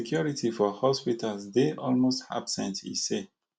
security for hospitals dey almost absent e say